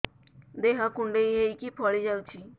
ଦେହ କୁଣ୍ଡେଇ ହେଇକି ଫଳି ଯାଉଛି